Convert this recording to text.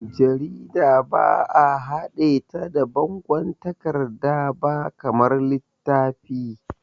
Jarida ba'a haɗe ta da bangon takarda ba kamar littafi.